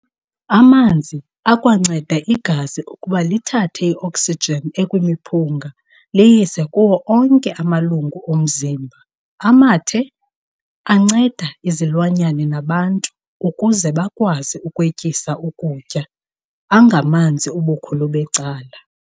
Amanzi akwanceda igazi ukuba lithathe i-oksijin ekwimiphunga liyise kuwo onke amalungu omzimba. Amathe, anceda izilwanyana nabantu ukuze bakwazi ukwetyisa ukutya, angamanzi ubukhulu becala.